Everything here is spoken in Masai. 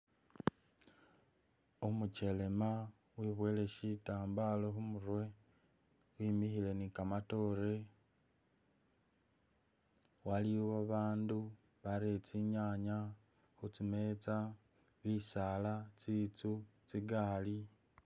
Umukelema webwoyile shitambala khumurwe, wimikhile ni kamatoore waliwo babandu barere tsinyanye khutsimetsa, bisaala, tsinzu, tsigali....